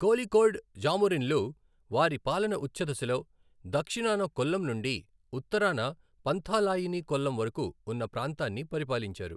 కోళికోడ్ జామోరిన్లు వారి పాలన ఉచ్ఛదశలో దక్షిణాన కొల్లం నుండి ఉత్తరాన పంథాలాయిని కొల్లం వరకు ఉన్న ప్రాంతాన్ని పరిపాలించారు.